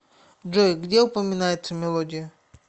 джой где упоминается мелодия